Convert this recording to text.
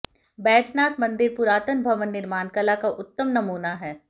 बैजनाथ मंदिर पुरातन भवन निर्माण कला का उत्तम नमूना है